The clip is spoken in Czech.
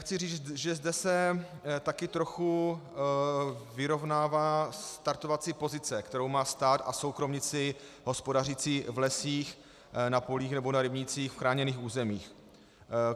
Chci říct, že zde se také trochu vyrovnává startovací pozice, kterou má stát a soukromníci hospodařící v lesích, na polích nebo na rybnících v chráněných územích.